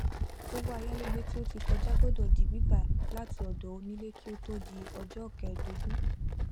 owó ayálégbé tí ó ti kọjá gbọdọ di gbígbà láti ọdọ onílé kí ó tó di ọjọ kẹẹdógún